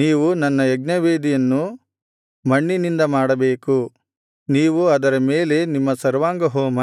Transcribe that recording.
ನೀವು ನನ್ನ ಯಜ್ಞವೇದಿಯನ್ನು ಮಣ್ಣಿನಿಂದ ಮಾಡಬೇಕು ನೀವು ಅದರ ಮೇಲೆ ನಿಮ್ಮ ಸರ್ವಾಂಗಹೋಮ